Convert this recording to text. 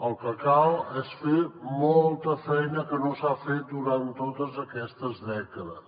el que cal és fer molta feina que no s’ha fet durant totes aquestes dècades